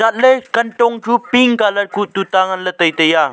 chatle kantong chu pink colour kuh tuta ngan le tai tai a.